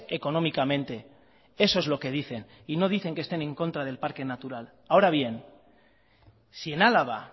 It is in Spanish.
económicamente eso es lo que dicen y no dicen que estén en contra del parque natural ahora bien si en álava